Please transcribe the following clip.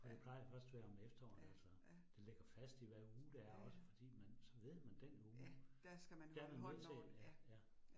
For det plejer først være om efteråret altså. Det ligger fast i hvad uge det er også fordi man så ved man den uge, der man nødt til. Ja ja